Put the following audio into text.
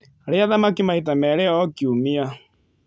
Rĩa thamaki maita merĩ o kiumia